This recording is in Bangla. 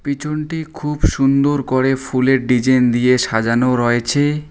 পিছনটি খুব সুন্দর করে ফুলের ডিজাইন দিয়ে সাজানো রয়েচে ।